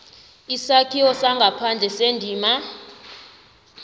isakhiwo sangaphandle sendima